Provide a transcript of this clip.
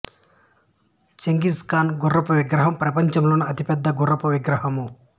Genghis Khan గుర్రపు విగ్రహం ప్రపంచంలోనే అతిపెద్దదైన గుర్రపు విగ్రహము